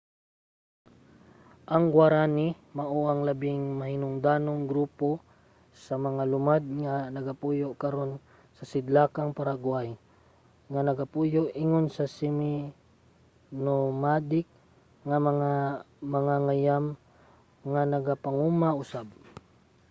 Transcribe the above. ang guaraní mao ang labing mahinungdanong grupo sa mga lumad nga nagapuyo karon sa sidlakang paraguay nga nagapuyo ingon mga semi-nomadic nga mga mangangayam nga nagapanguma usab